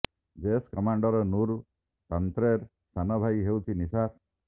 Jaish commander Noor ତାନ୍ତ୍ରେର ସାନ ଭାଇ ହେଉଛି ନିସାର